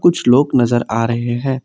कुछ लोग नजर आ रहे हैं।